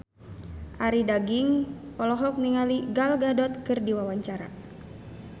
Arie Daginks olohok ningali Gal Gadot keur diwawancara